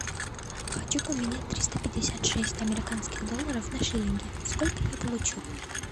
хочу поменять триста пятьдесят шесть американских долларов на шиллинги сколько я получу